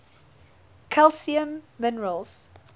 calcium minerals